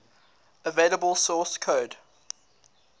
available source code